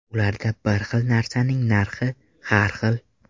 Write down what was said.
Ularda bir xil narsaning narxi har xil.